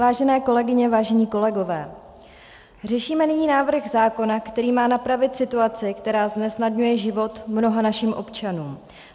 Vážené kolegyně, vážení kolegové, řešíme nyní návrh zákona, který má napravit situaci, která znesnadňuje života mnoha našim občanům.